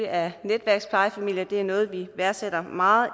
af netværksplejefamilier det er noget vi værdsætter meget